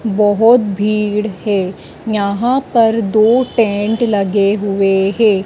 बहोत भीड़ है यहां पर दो टेंट लगे हुए हैं।